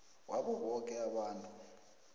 wabo boke abantu